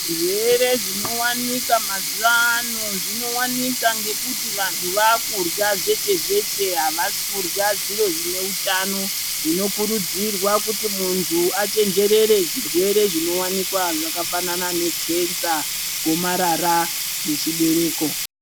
Zvirwere zvino wanika mazuva ano zvino wanika ngekuti vantu vakurya zveshe zveshe avasi kurya zviro zvine utano zvino kurudzirwa kuti muntu achenjerere zvirwere zvino wanikwa zvaka fanana ne kenza gomarara re chibereko.